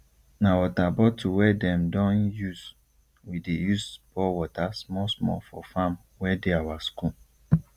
na water bottle wey them don usewe dey use pour water small small for farm wey dey our school